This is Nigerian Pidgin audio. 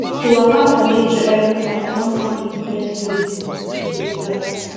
to waka for nature everytime don turn him best way to relax